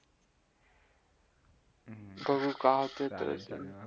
बघू काय